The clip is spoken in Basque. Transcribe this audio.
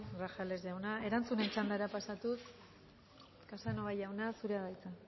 grajales jauna erantzunen txandara pasatuz casanova jauna zurea da hitza